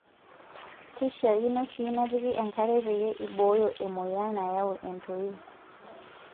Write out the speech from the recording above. Keishaakino sii nepiki enkare peeyie ibooyo emoyian nayau entoii.